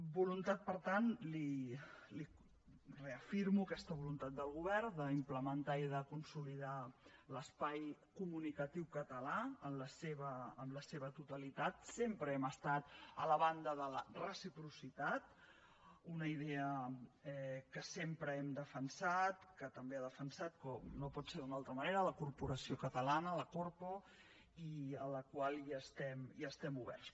voluntat per tant li reafirmo aquesta voluntat del govern d’implementar i de consolidar l’espai comunicatiu català en la seva totalitat sempre hem estat a la banda de la reciprocitat una idea que sempre hem defensat que també ha defensat com no pot ser d’una altra manera la corporació catalana la corpo i a la qual hi estem oberts